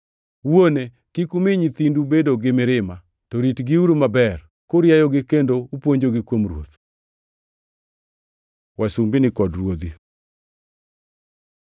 Wuone kik umi nyithindu bedo gi mirima; to ritgiuru maber, kurieyogi kendo upuonjogi kuom Ruoth. Wasumbini kod ruodhi